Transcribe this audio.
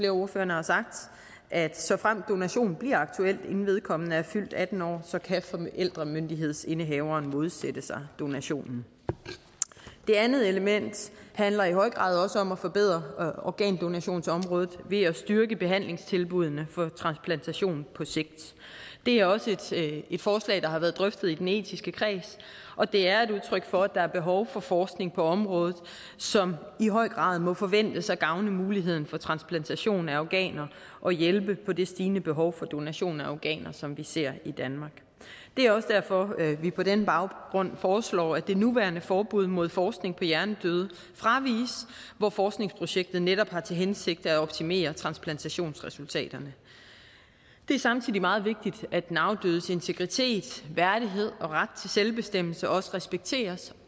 af ordførerne har sagt at såfremt donation bliver aktuelt inden vedkommende er fyldt atten år kan forældremyndighedsindehaveren modsætte sig donationen det andet element handler i høj grad også om at forbedre organdonationsområdet ved at styrke behandlingstilbuddene for transplantation på sigt det er også et forslag der har været drøftet i den etiske kreds og det er et udtryk for at der er behov for forskning på området som i høj grad må forventes at gavne muligheden for transplantation af organer og hjælpe i forhold til det stigende behov for donation af organer som vi ser i danmark det er også derfor at vi på den baggrund foreslår at det nuværende forbud mod forskning på hjernedøde fraviges hvor forskningsprojektet netop har til hensigt at optimere transplantationsresultaterne det er samtidig meget vigtigt at den afdødes integritet værdighed og ret til selvbestemmelse respekteres